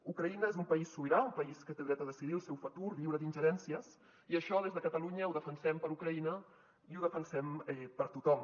ucraïna és un país sobirà un país que té dret a decidir el seu futur lliure d’ingerències i això des de catalunya ho defensem per ucraïna i ho defensem per tothom